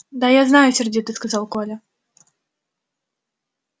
да знаю я сердито сказал коля